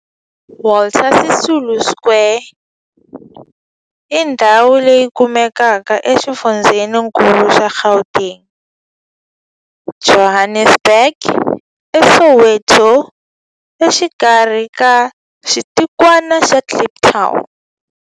Walter Sisulu Square i ndhawu leyi kumekaka exifundzheni-nkulu xa Gauteng, Johannesburg, a Soweto, exikarhi ka xitikwana xa Kliptown.